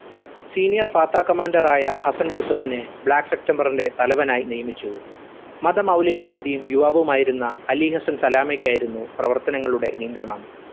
senior Fatah commander ആയ Hassan യുസുഫിന് black september ന്റെ തലവനായി നിയമിച്ചു. മതമൗലികവാദിയും യുവാവുമായിരുന്ന അലിഹസ്സൻ സലാമക്കായിരുന്നു പ്രവർത്തനങ്ങളുടെ നിയന്ത്രണം.